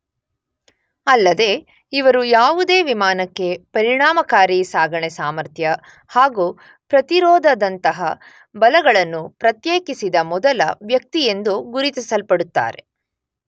ಅಲ್ಲದೇ ಇವರು ಯಾವುದೇ ವಿಮಾನಕ್ಕೆ ಪರಿಣಾಮಕಾರಿ ಸಾಗಣೆ ಸಾಮರ್ಥ್ಯ ಹಾಗು ಪ್ರತಿರೋಧದಂತಹ ಬಲಗಳನ್ನು ಪ್ರತ್ಯೇಕಿಸಿದ ಮೊದಲ ವ್ಯಕ್ತಿಯೆಂದು ಗುರುತಿಸಲ್ಪಡುತ್ತಾರೆ.